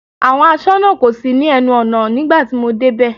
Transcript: Àwọn aṣọ́nà kò sí ní ẹnu ọ̀nà nígbà tí mo dé bẹ̀.